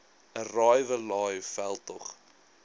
arrive alive veldtog